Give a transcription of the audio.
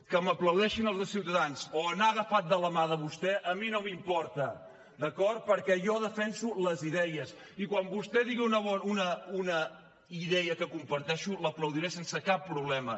que m’aplaudeixin els de ciutadans o anar agafat de la mà de vostè a mi no m’importa d’acord perquè jo defenso les idees i quan vostè digui una idea que comparteixo l’aplaudiré sense cap problema